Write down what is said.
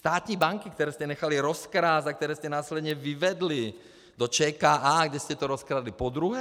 Státní banky, které jste nechali rozkrást a které jste následně vyvedli do ČKA, kde jste to rozkradli podruhé.